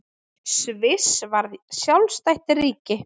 Sviss varð sjálfstætt ríki.